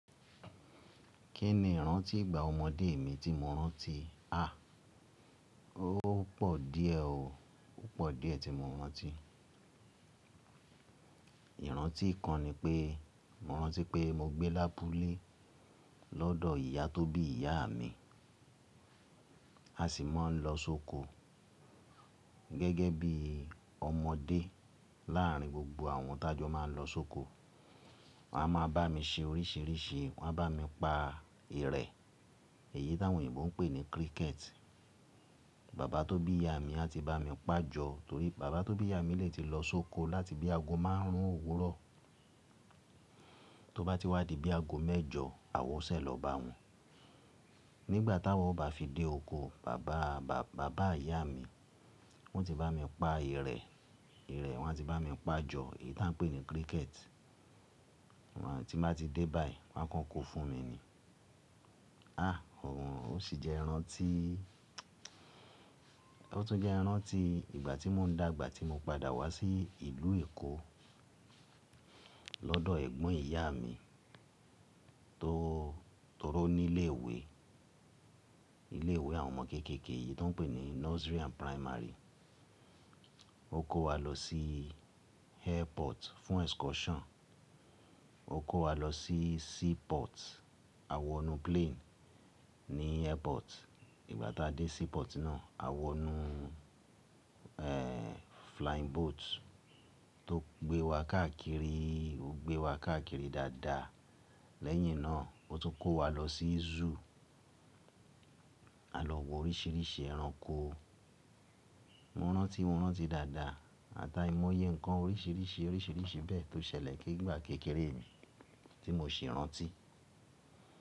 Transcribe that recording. Kí ni ìrántí ìgbà ọmọdé mi tí mo rántí? À, ó pò díẹ̀ o. Ó pò díẹ̀ tí mo rántí. Ìrántí kan ni pé, mo rántí pé mo gbé lábulẹ́ lọ́dọ̀ ìyá tó bí ìyá mi. A sì máa ń lọ sóko gẹ́gẹ́ bí ọmọdé láàárín gbogbo àwọn tájọ máa ń lọ sóko. Wọ́n á máa bá mi ṣe oríṣìíríṣìí. Wọ́n á bá mi pa ìrẹ̀, èyí t'àwọn òyìnbó ń pè ní cricket. Bàbá tó bí ìyá mi a ti bá mi pà jọ, torí bàbá tó bí ìyá mi lè ti lọ sóko láti bí ago márún òwúrọ̀. Tó bá ti wá di bí ago mẹ́jọ, àwa ó ṣẹ̀ lọ bá wọn. Nígbà táwa bá fi dé oko, bàbá, bàbá ìyá mi, wọ́n ti bá mi pa ìrẹ̀. Ìrẹ̀ wọ́n á ti bá mi pà jọ, èyí tí à ń pè ní cricket. Wọn á ti bá ti dé báàyi, wọ́n á kọ́ ko fún mi ni. À, òun, ó sì jẹ́ ìrántí, ó tún jẹ́ ìrántí ìgbà tí mo ń dàgbà tí mo padà wá sí ìlú Èkó lọ́dọ̀ ẹ̀gbọ́n ìyá mi tó, tó ró ní ilé ìwé, ilé ìwé àwọn ọmọ kéékèèké yìí tó ń pè ní nursery and primary. Ó kó wa lọ sí airport fún excursion. Ó kó wa lọ sí seaport. A wọnú plane ní airport. Ìgbà tá a dé seaport náà, a wọnú, ẹ́, flying boat tó gbé wa káàkiri, ó gbé wa káàkiri dáadáa. Lẹ́yìn náà, ó tún kó wa lọ sí zoo. A lọ wo oríṣìíríṣìí ẹranko. Mo rántí, mo rántí dáadáa, àtàímóyé nǹkan oríṣìíríṣìí, oríṣìíríṣìí bẹ́ẹ̀ tó ṣẹlẹ̀ ní ìgbà kékeré mi tí mò ṣì rántí.